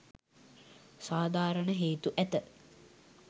සාධාරණ හේතු ඇත.